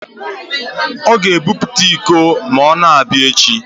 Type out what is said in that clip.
Ọ ga-ebute iko ma ọ na-abịa echi